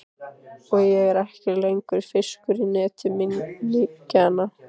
Og ég er ekki lengur fiskur í neti minninganna.